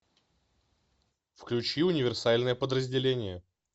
включи универсальное подразделение